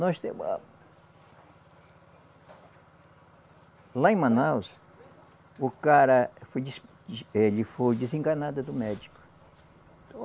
Nós temos a. Lá em Manaus, o cara foi des, ele foi desenganado do médico.